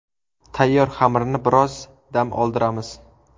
Tayyor xamirni biroz dam oldiramiz.